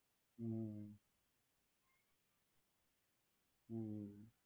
હમ્મ હમ્મ